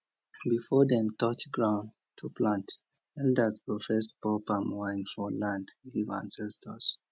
before dem touch ground to plant elders go first pour palm wine for land give ancestors